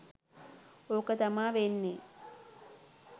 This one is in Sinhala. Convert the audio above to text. ඕක තමා වෙන්නේ